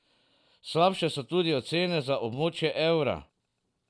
Slabše so tudi ocene za območje evra.